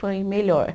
Foi melhor.